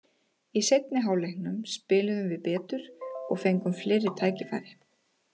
Í seinni hálfleiknum spiluðum við betur og fengum fleiri tækifæri.